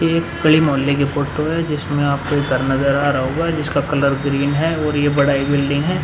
ये एक गली मोहल्ले की फोटो है जिसमें आप को एक घर नजर आ रहा होगा जिसका कलर ग्रीन है और ये बड़ा ही बिल्डिंग है।